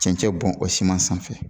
Cɛnccɛ bɔn o siman sanfɛ